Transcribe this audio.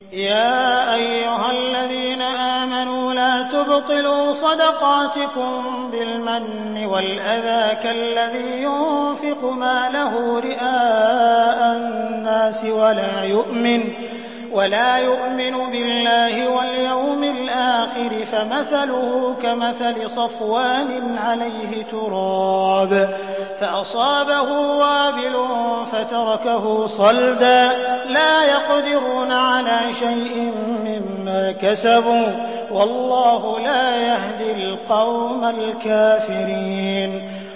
يَا أَيُّهَا الَّذِينَ آمَنُوا لَا تُبْطِلُوا صَدَقَاتِكُم بِالْمَنِّ وَالْأَذَىٰ كَالَّذِي يُنفِقُ مَالَهُ رِئَاءَ النَّاسِ وَلَا يُؤْمِنُ بِاللَّهِ وَالْيَوْمِ الْآخِرِ ۖ فَمَثَلُهُ كَمَثَلِ صَفْوَانٍ عَلَيْهِ تُرَابٌ فَأَصَابَهُ وَابِلٌ فَتَرَكَهُ صَلْدًا ۖ لَّا يَقْدِرُونَ عَلَىٰ شَيْءٍ مِّمَّا كَسَبُوا ۗ وَاللَّهُ لَا يَهْدِي الْقَوْمَ الْكَافِرِينَ